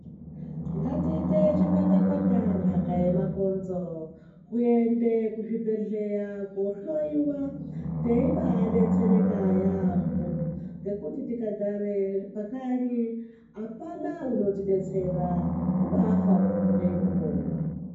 Ngatiite chipata pata ndaka yemakomzo ngatiende kuzvibhedhlera kohloyiwa teibaa detsereka yaampo ngekuti tikagare pakanyi apana unotidetsera kubaafawo neino ponwa.